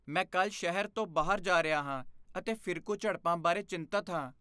ਮੈਂ ਕੱਲ੍ਹ ਸ਼ਹਿਰ ਤੋਂ ਬਾਹਰ ਜਾ ਰਿਹਾ ਹਾਂ ਅਤੇ ਫਿਰਕੂ ਝੜਪਾਂ ਬਾਰੇ ਚਿੰਤਤ ਹਾਂ।